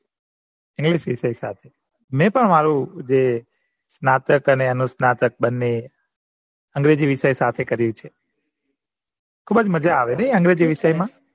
English વિષય સાથે મેં પણ મારું જે સ્નાતક અને અનુસ્નાતક બન્ને અગ્રેજી વિષય સાથે કર્યું છે મજા આવે નઈ અગ્રેજી વિષય મા